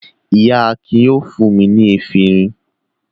Iya Akin yóò fún mi efirin.